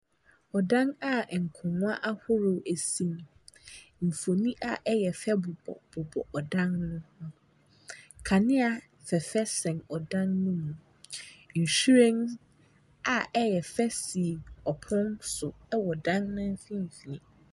Ↄdan a nkongwa ahoroɔ si mu. Mfonin a ɛyɛ fɛ bobɔbobɔ ɔdan no mu. Kaneɛ fɛɛfɛ sɛn ɔdan no mu. Nhwiren a ɛyɛ fɛ si ɔpono so wɔ ɔdan no mfimfini.